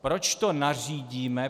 Proč to nařídíme?